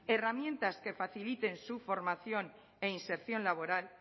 herramientas que faciliten su formación e inserción laboral